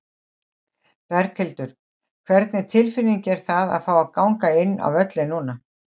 Berghildur: Hvernig tilfinning er það fá að ganga inn á völlinn núna?